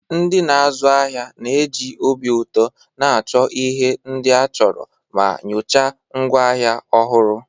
Ndị na-azu ahịa na-eji obi ụtọ na-achọ ihe ndị a chọrọ ma nyochaa ngwaahịa ọhụrụ.